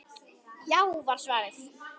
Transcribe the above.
Já var svarið.